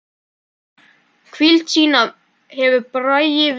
Hvíld sína hefur Bragi fengið.